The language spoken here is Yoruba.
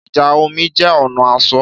Ìjà omi jẹ́ ọ̀nà asọ̀